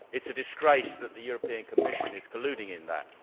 It is a disgrace that the European Commission is colluding in that.